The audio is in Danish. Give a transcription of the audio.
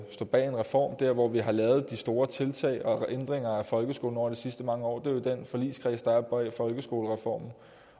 stå bag en reform der hvor vi har lavet de store tiltag og ændringer af folkeskolen over de sidste mange år jo er i den forligskreds der er bag folkeskolereformen